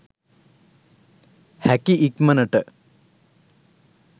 හැකි ඉක්මණට